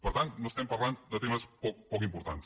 per tant no estem parlant de temes poc importants